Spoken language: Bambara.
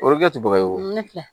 Olu kɛ baga ye wo ne filɛ